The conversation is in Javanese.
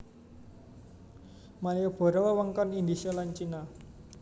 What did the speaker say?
Maliboro wewengkon Indhise lan Cina